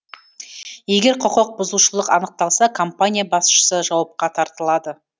егер құқық бұзушылық анықталса компания басшысы жауапқа тартылады